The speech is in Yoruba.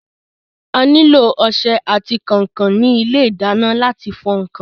A nílò ọsẹ àti kànkàn ní ilé ìdáná láti fọ ǹkan.